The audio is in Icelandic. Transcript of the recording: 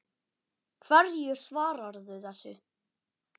Hverju svararðu þessu?